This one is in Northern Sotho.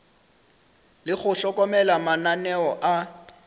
le go hlokomela mananeo a